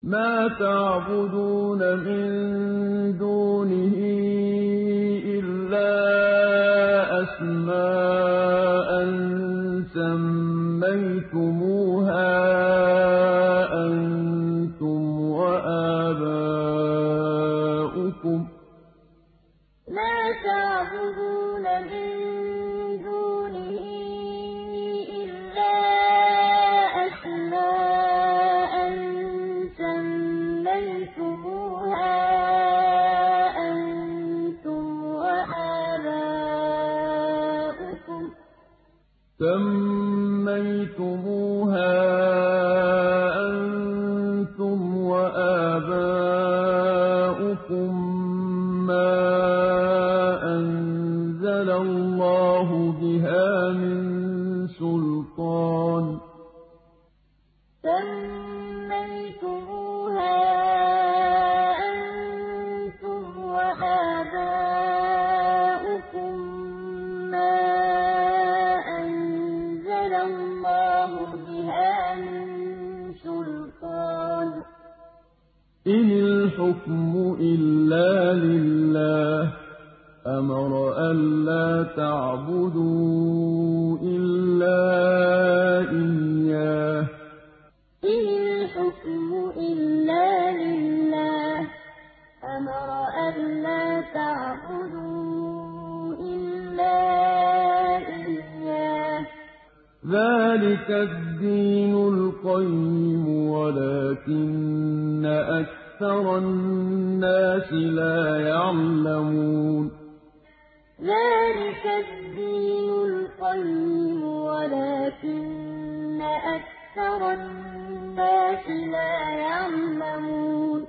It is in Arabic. مَا تَعْبُدُونَ مِن دُونِهِ إِلَّا أَسْمَاءً سَمَّيْتُمُوهَا أَنتُمْ وَآبَاؤُكُم مَّا أَنزَلَ اللَّهُ بِهَا مِن سُلْطَانٍ ۚ إِنِ الْحُكْمُ إِلَّا لِلَّهِ ۚ أَمَرَ أَلَّا تَعْبُدُوا إِلَّا إِيَّاهُ ۚ ذَٰلِكَ الدِّينُ الْقَيِّمُ وَلَٰكِنَّ أَكْثَرَ النَّاسِ لَا يَعْلَمُونَ مَا تَعْبُدُونَ مِن دُونِهِ إِلَّا أَسْمَاءً سَمَّيْتُمُوهَا أَنتُمْ وَآبَاؤُكُم مَّا أَنزَلَ اللَّهُ بِهَا مِن سُلْطَانٍ ۚ إِنِ الْحُكْمُ إِلَّا لِلَّهِ ۚ أَمَرَ أَلَّا تَعْبُدُوا إِلَّا إِيَّاهُ ۚ ذَٰلِكَ الدِّينُ الْقَيِّمُ وَلَٰكِنَّ أَكْثَرَ النَّاسِ لَا يَعْلَمُونَ